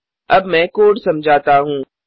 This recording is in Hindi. अब मैं कोड समझाता हूँ